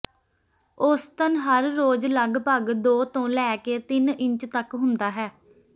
ਔਸਤਨ ਹਰ ਰੋਜ ਲਗਭਗ ਦੋ ਤੋਂ ਲੈ ਕੇ ਤਿੰਨ ਇੰਚ ਤਕ ਹੁੰਦਾ ਹੈ